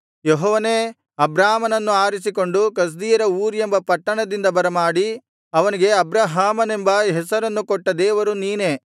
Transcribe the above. ಯೆಹೋವನೇ ಅಬ್ರಾಮನನ್ನು ಆರಿಸಿಕೊಂಡು ಕಸ್ದೀಯರ ಊರ್ ಎಂಬ ಪಟ್ಟಣದಿಂದ ಬರಮಾಡಿ ಅವನಿಗೆ ಅಬ್ರಹಾಮನೆಂಬ ಹೆಸರನ್ನು ಕೊಟ್ಟ ದೇವರು ನೀನೇ